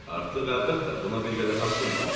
Artıq əlbəttə buna bir qədər haqqım var.